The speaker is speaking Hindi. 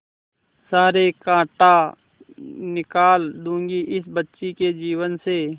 सारे कांटा निकाल दूंगी इस बच्ची के जीवन से